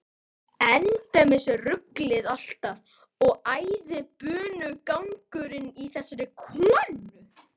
Endemis ruglið alltaf og æðibunugangurinn í þessari konu.